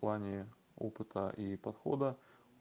в плане опыта и подхода